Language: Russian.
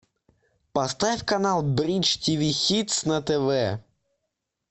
поставь канал бридж тв хитс на тв